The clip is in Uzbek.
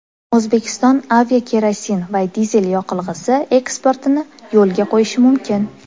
O‘zbekiston aviakerosin va dizel yoqilg‘isi eksportini yo‘lga qo‘yishi mumkin.